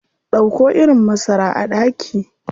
Dauko irin masara a daki.